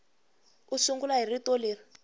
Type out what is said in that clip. u sungula hi rito leri